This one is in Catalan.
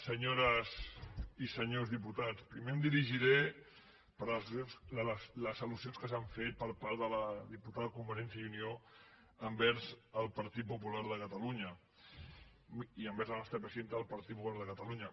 senyores i senyors diputats primer em dirigiré per les alde la diputada de convergència i unió envers el partit popular de catalunya i envers la nostra presidenta del partit popular de catalunya